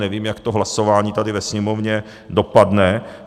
Nevím, jak to hlasování tady ve Sněmovně dopadne.